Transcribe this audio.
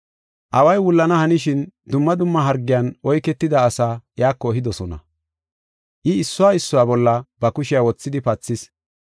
Away wullana hanishin dumma dumma hargiyan oyketida asaa iyako ehidosona. I issuwa issuwa bolla ba kushiya wothidi pathis.